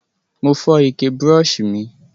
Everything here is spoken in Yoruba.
Mo fó ike brush mi